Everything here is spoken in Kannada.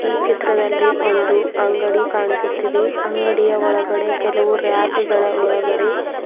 ಈ ಚಿತ್ರದಲ್ಲಿ ಒಂದು ಅಂಗಡಿ ಕಾಣಿಸುತ್ತಿದೆ ಅಂಗಡಿಯ ಒಳಗಡೆ ಕೆಲವು ರ್ಯಾಕು ಗಳ ಒಳಗಡೆ --